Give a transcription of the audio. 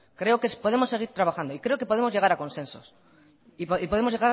creo que podemos seguir trabajando y creo que podemos llegar a consensos y podemos